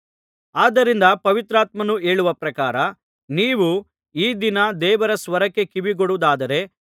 ಆದ್ದರಿಂದ ಪವಿತ್ರಾತ್ಮನು ಹೇಳುವ ಪ್ರಕಾರ ನೀವು ಈ ದಿನ ದೇವರ ಸ್ವರಕ್ಕೆ ಕಿವಿಗೊಡುವುದಾದರೆ